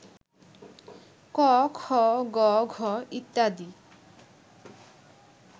ক, খ, গ, ঘ ইত্যাদি